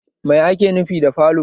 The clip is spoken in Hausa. Mai ake nufi da falo?